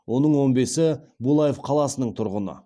оның он бесі булаев қаласының тұрғыны